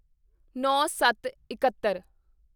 ਨੌਂਸੱਤਇੱਕਹੱਤਰ